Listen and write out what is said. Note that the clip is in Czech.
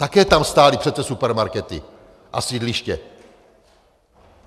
Také tam stály přece supermarkety a sídliště.